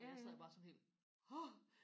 jeg sad bare sådan helt åh